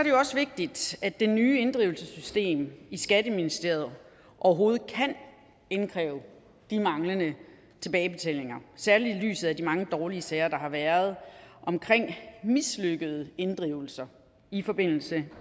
jo også vigtigt at det nye inddrivelsessystem skatteministeriet overhovedet kan indkræve de manglende tilbagebetalinger særlig i lyset af de mange dårlige sager der har været omkring mislykkede inddrivelser i forbindelse